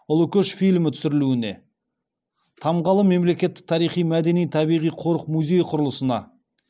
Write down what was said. ұлы көш фильмі түсірілуіне тамгалы мемлекеттік тарихи мәдени табиғи қорық музей құрылысына